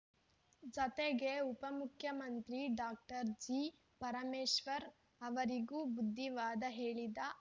ಜತೆಗೆ ಉಪಮುಖ್ಯಮಂತ್ರಿ doctor G Parameshwar ಅವರಿಗೂ ಬುದ್ಧಿವಾದ ಹೇಳಿದ ಅವರು